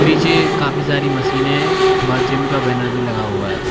पीछे काफी सारी मशीने व जिम का बैनर भी लगा हुआ है।